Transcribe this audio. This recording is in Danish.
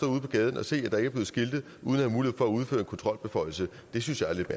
ude på gaden og se at der ikke er blevet skiltet uden at have mulighed for at udføre en kontrolbeføjelse det synes jeg er lidt